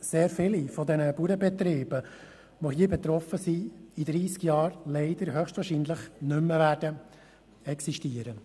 Sehr viele der betroffenen Bauernbetriebe werden in dreissig Jahren höchstwahrscheinlich leider nicht mehr existieren.